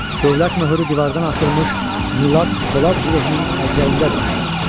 Dövlət möhrü divandan asılmış Milad Polad Zirehinin əl-əcrəyindədir.